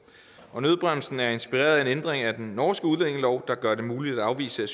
nødbremsen er inspireret af en ændring af den norske udlændingelov der gør det muligt at afvise